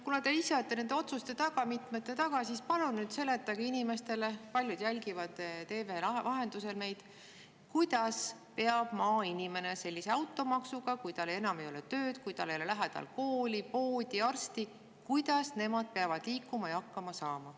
Kuna te ise olete nende otsuste taga, mitmete otsuste taga, siis palun selgitage inimestele – paljud jälgivad meid TV vahendusel –, kuidas peab maainimene sellise automaksu korral liikuma ja hakkama saama, kui tal ei ole enam tööd ning tema läheduses ei ole kooli, poodi ega arsti.